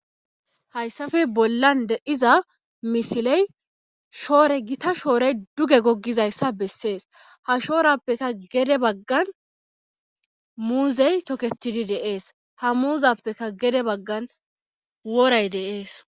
hayssafe bollan de'iza misiley shoore gita shoorey duge gogizayssa bessees ha shoorappeka gede baggan muuzey toketidi de'ees ha muuzappeka gede baggan wooray de'ees